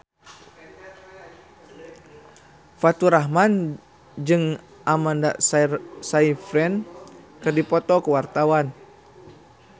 Faturrahman jeung Amanda Sayfried keur dipoto ku wartawan